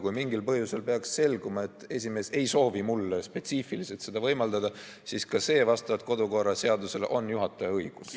Kui mingil põhjusel peaks selguma, et esimees ei soovi mulle spetsiifiliselt seda võimaldada, siis ka see vastavalt kodukorra seadusele on juhataja õigus.